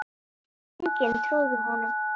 Enginn trúði honum.